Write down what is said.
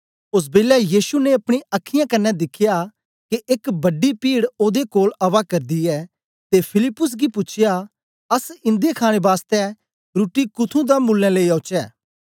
ओस बेलै यीशु ने अपनी अखीयाँ कन्ने दिख्या के एक वड्डी पीड ओदे कोल आवा करदी ऐ ते फिलिप्पुस गी पूछया अस इंदे खाणे बास्तै रुट्टी कुथ्थुं दा मुलैं लेई औचे